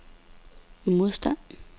modstand